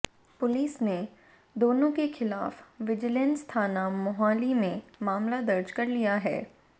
police ने दोनों के खिलाफ विजिलेंस थाना मोहाली में मामला दर्ज कर लिया है